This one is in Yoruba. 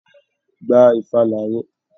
Gba ìfàlà rẹ!